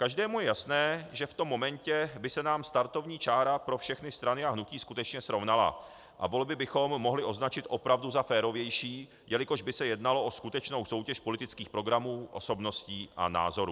Každému je jasné, že v tom momentě by se nám startovní čára pro všechny strany a hnutí skutečně srovnala a volby bychom mohli označit opravdu za férovější, jelikož by se jednalo o skutečnou soutěž politických programů, osobností a názorů.